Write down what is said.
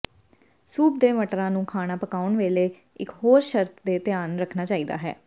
soup ਦੇ ਮਟਰਾਂ ਨੂੰ ਖਾਣਾ ਪਕਾਉਣ ਵੇਲੇ ਇਕ ਹੋਰ ਸ਼ਰਤ ਤੇ ਧਿਆਨ ਰੱਖਣਾ ਚਾਹੀਦਾ ਹੈ